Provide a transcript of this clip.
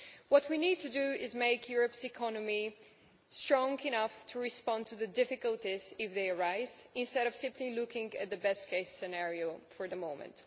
What we need to do is make Europe's economy strong enough to respond to difficulties if they arise instead of simply looking at the best case scenario for the moment.